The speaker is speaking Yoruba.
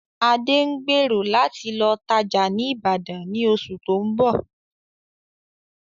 Adé ń gbèrò láti lọ tajá ni Ibadan ni oṣù tóun bọ̀